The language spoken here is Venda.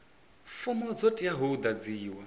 fomo dzo teaho u ḓadziwa